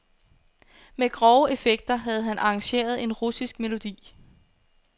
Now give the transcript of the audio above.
Med grove effekter havde han arrangeret en russisk melodi.